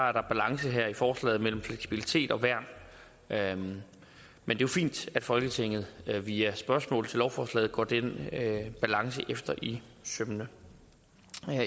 er der balance her i forslaget mellem fleksibilitet og værn men det er fint at folketinget via spørgsmål til lovforslaget går den balance efter i sømmene